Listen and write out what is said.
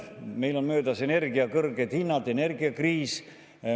Meil on möödas energia kõrged hinnad, energiakriis.